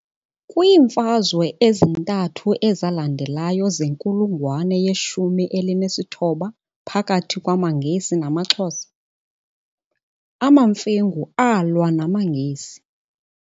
Kwiimfazwe ezintathu ezalandelayo zenkulungwane yeshumi elinesithoba phakathi kwamaNgesi namaXhosa, amaMfengu alwa namaNgesi.